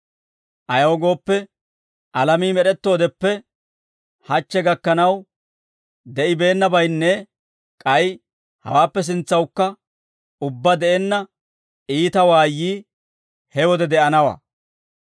ayaw gooppe, alamii med'ettoodeppe hachche gakkanaw de'ibeennabaynne k'ay hawaappe sintsawukka ubbaa de'enna iita waayyii he wode de'anawaa.